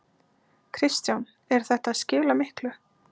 Kristján: Er þetta að skila miklu?